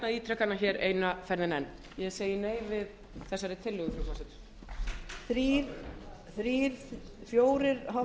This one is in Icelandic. ítreka hana hér eina ferðina enn ég segi nei við þessari tillögu frú forseti